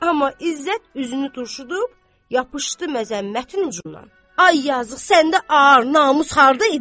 Amma İzzət üzünü turşudub yapışdı məzəmmətin ucuna: "Ay yazıq, səndə ağar, namus harda idi?